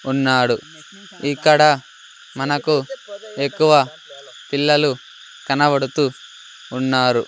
ఉన్నాడు ఇక్కడ మనకు ఎక్కువ పిల్లలు కనబడుతూ ఉన్నారు.